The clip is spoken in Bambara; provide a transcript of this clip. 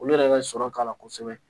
Olu yɛrɛ ka sɔrɔ k'a la kosɛbɛ